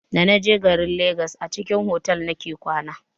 Da naje garin legas a cikin otal nake kwana.